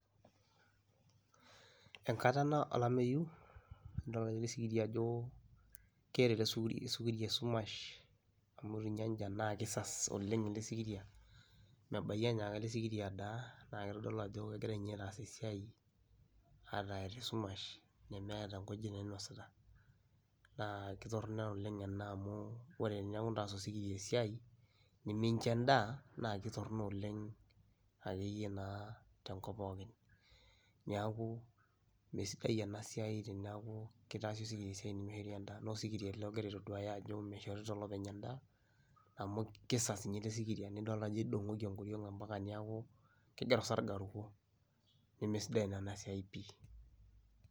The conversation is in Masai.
Enkata ena olameyu idol ake siyie ajo keeta elesikiria esumash amu kisas ninye openy elesikiria na kitodolu ajo keton egira aas esiai ata eeta esumash nemeeta nkujit nainosita naa kitorono oleng ena amu ore teniaku kitaasieki esiai nimincho endaa naa kitorono oleng akeyie naa tenkop pookin , niaku me sidai enasiai niaku kitodolu ena ajo mishorita olopeny endaa.